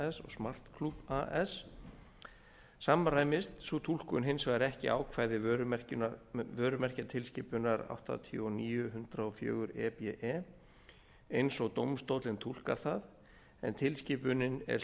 smart club as samræmist sú túlkun hins vegar ekki ákvæði vörumerkjatilskipunar áttatíu og níu hundrað og níu e b e eins og dómstóllinn túlkar það en tilskipunin er